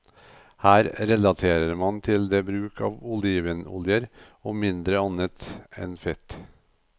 Her relaterer man det til bruk av olivenoljer og mindre annet fett.